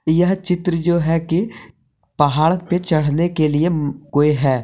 यह चित्र जो है कि पहाड़ पे चढ़ने के लिए है।